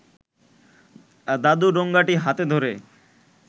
দাদু ঠোঙাটি হাতে ধরে